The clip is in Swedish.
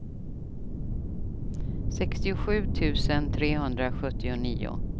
sextiosju tusen trehundrasjuttionio